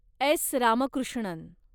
S. Ramakrishnan